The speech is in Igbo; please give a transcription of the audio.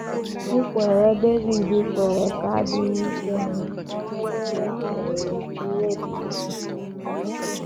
Nkwere Devid kwere ka adịghị ike n’omume merie ya furu ya ihe dị ukwuu.